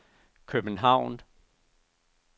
København